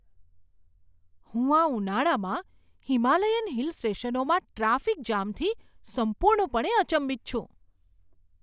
હું આ ઉનાળામાં હિમાલયન હિલ સ્ટેશનોમાં ટ્રાફિક જામથી સંપૂર્ણપણે અચંબિત છું!